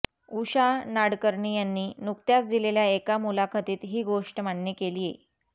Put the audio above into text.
उषा नाडकर्णी यांनी नुकत्याच दिलेल्या एका मुलाखतीत ही गोष्ट मान्य केलीय